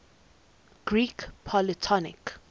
greek polytonic